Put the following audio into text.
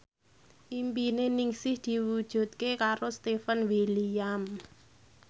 impine Ningsih diwujudke karo Stefan William